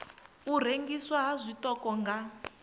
u rengiswa ha tshiṱoko nga